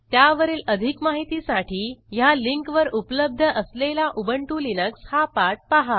त्यावरील अधिक माहितीसाठी ह्या लिंकवर उपलब्ध असलेला उबंटु लिनक्स हा पाठ पहा